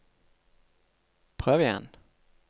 prøv igjen